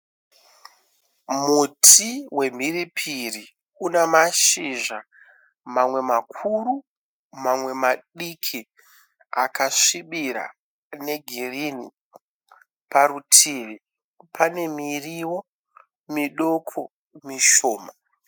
Muti wemhiripiri une mashizha mamwe makuru mamwe madiki akasvibira negirinhi. Parutivi pane muriwo midoki mishoma.